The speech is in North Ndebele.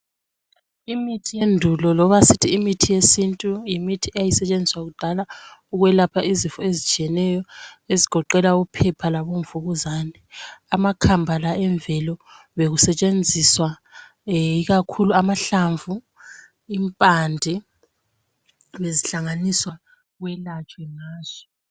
Imithi yendulo loba sithi imithi yesintu yimthi eyayisentshenziswa kudala ukwelapha izifo etshiyeneyo ezigoqela uphepha labomvukuzane. Amakhambala yemvelo bekusentshenziswa ikakhulu amahlamvu, impande bekuhlanganiswa kwelatshwe ngazo.